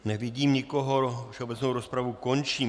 Nevidím nikoho, všeobecnou rozpravu končím.